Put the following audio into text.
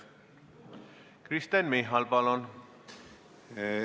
Kristen Michal, palun!